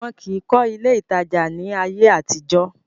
wọn kìí kọ́ ilé ìtajà ní ayé àtijọ́.